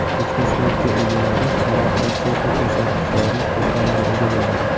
Ko‘chmas mulki egalari alohida texnik ko‘rsatgichlarni to‘plamiga ega bo‘ladi.